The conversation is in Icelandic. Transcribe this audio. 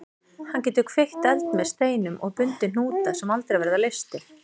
Hann getur kveikt eld með steinum og bundið hnúta sem aldrei verða leystir.